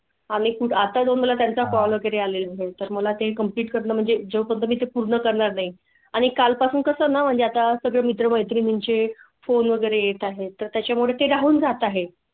आम्ही आता तुम्हाला त्याचा call वगैरे आले आहे तर मला ते complete करीन म्हणजे जो मी ते पूर्ण करणार नाही आणि काल पासून कसं? म्हणजे आता सगळे मित्र मैत्रिणीं चे phone वगैरे येत आहे तर त्याच्या मुळे ते राहून जात आहे.